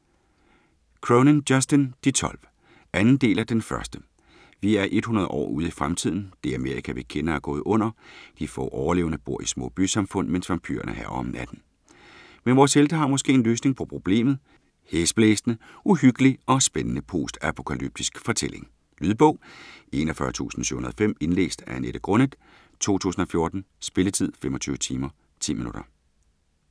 Cronin, Justin: De tolv 2. del af Den første. Vi er 100 år ude i fremtiden. Det Amerika, vi kender, er gået under. De få overlevende bor i små bysamfund, mens vampyrerne hærger om natten. Men vores helte har måske en løsning på problemet. Hæsblæsende, uhyggelig og spændende postapokalyptisk fortælling. Lydbog 41705 Indlæst af Annette Grunnet , 2014. Spilletid: 25 timer, 10 minutter.